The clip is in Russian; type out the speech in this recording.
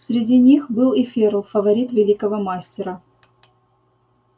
среди них был и ферл фаворит великого мастера